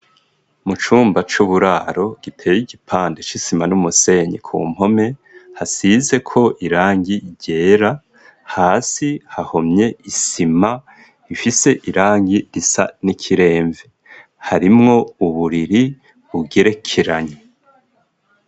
Mu cumba c'uburaro giteye igipande c'isima n'umusenyi ku mpome hasize ko irangi irera hasi hahomye isima ifise irangi risa n'ikiremve harimwo uburiri bugerekeranye.